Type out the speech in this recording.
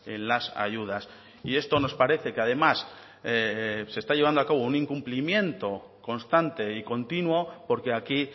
en las ayudas y esto nos parece que además se está llevando a cabo un incumplimiento constante y continuo porque aquí